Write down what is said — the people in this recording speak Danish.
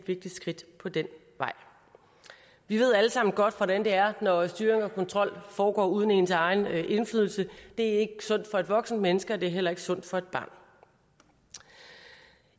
vigtigt skridt på den vej vi ved alle sammen godt hvordan det er når styring og kontrol foregår uden ens egen indflydelse det er ikke sundt for et voksent menneske og det er heller ikke sundt for et barn